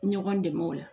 Ɲɔgɔn dɛmɛ o la